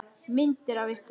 Myndir af ykkur.